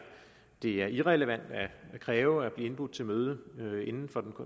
er irrelevant at kræve at blive indbudt til møde møde inden for den